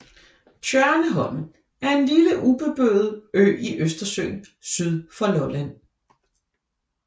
Tjørneholm er en lille ubeboet ø i Østersøen syd for Lolland